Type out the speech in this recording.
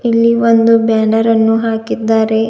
ಇಲ್ಲಿ ಒಂದು ಬ್ಯಾನರ್ ಅನ್ನು ಹಾಕಿದ್ದಾರೆ.